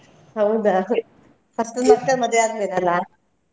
ಹೌದಾ first ನಿನ್ ಅಕ್ಕನ್ ಮದುವೆ ಆದ್ಮೇಲೆ ಅಲ್ಲ.